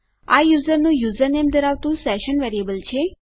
આ યુઝરનું યુઝરનેમ ધરાવતું સેશન વેરીએબલ છે